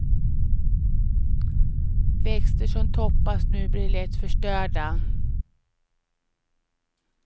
Växter som toppas nu blir lätt förstörda.